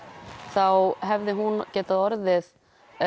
þá hefði hún geta orðið